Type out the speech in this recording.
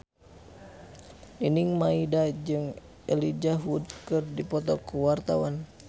Nining Meida jeung Elijah Wood keur dipoto ku wartawan